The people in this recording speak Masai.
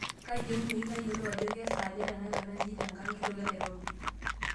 kaayieunoyu nayiolou ajo kesaaja tenakata nji tenkang' kitok enairobi